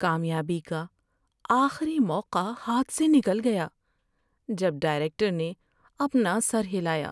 کامیابی کا آخری موقع ہاتھ سے نکل گیا جب ڈائریکٹر نے اپنا سر ہلایا۔